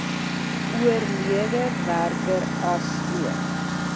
oorlede werker asook